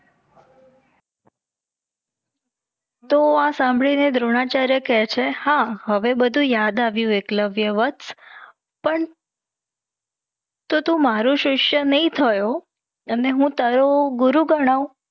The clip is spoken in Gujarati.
તો આ સાંભડી ને દ્રોણાચાર્ય કે છે. હા હવે બધુ યાદ આવ્યું એકલવ્યવત્સ. પણ તો તું મારો સીસ્ય નહીં થયો અને હું તારો ગુરુ ગણવ?